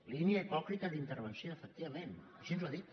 línia hipòcrita d’intervenció efectivament així ho ha dit